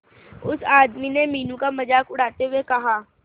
उस आदमी ने मीनू का मजाक उड़ाते हुए कहा